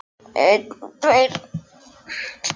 Hann hafði náð því sem hann ætlaði sér.